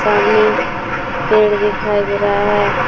सामने पेड़ दिखाई दे रहा है।